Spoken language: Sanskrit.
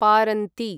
पारन्ती